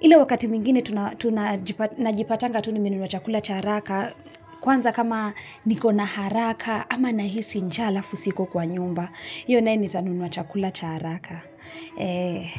ile wakati mwingine tuna tuna najipatanga tu nimenunua chakula cha haraka kwanza kama niko na haraka ama nahisi njaa alafu siko kwa nyumba hiyo naye nitanunua chakula cha haraka eeh.